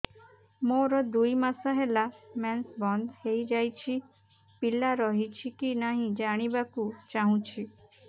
ମୋର ଦୁଇ ମାସ ହେଲା ମେନ୍ସ ବନ୍ଦ ହେଇ ଯାଇଛି ପିଲା ରହିଛି କି ନାହିଁ ଜାଣିବା କୁ ଚାହୁଁଛି